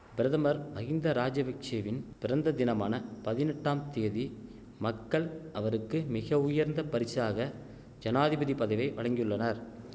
பிரதமர் மஹிந்த ராஜபிக்ஷெவின் பிறந்ததினமான பதினெட்டாம் தேதி மக்கள் அவருக்கு மிக உயர்ந்த பரிசாக ஜனாதிபதி பதவியை வழங்கியுள்ளனர்